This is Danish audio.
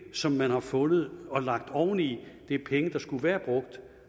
som man har fundet og lagt oveni det er penge der skulle være brugt